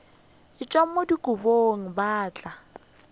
tšhelwa mo dikobong ba tla